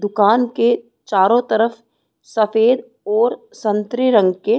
दुकान के चारों तरफ सफेद और संतरे रंग के --